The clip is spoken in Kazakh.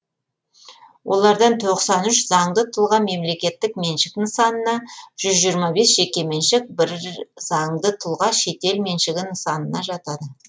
олардан тоқсан үш заңды тұлға мемлекеттік меншік нысанына жүз жиырма бес жеке меншік бір заңды тұлға шетел меншігі нысанына жатады